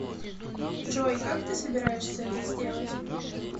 джой как ты собираешься это сделать